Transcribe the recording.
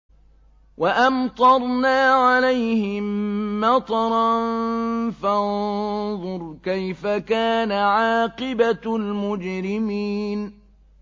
وَأَمْطَرْنَا عَلَيْهِم مَّطَرًا ۖ فَانظُرْ كَيْفَ كَانَ عَاقِبَةُ الْمُجْرِمِينَ